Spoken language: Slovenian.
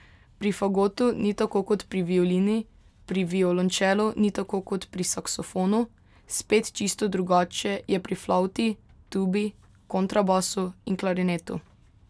Pri fagotu ni tako kot pri violini, pri violončelu ni tako kot pri saksofonu, spet čisto drugače je pri flavti, tubi, kontrabasu in klarinetu.